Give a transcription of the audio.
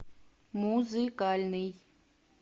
музыкальный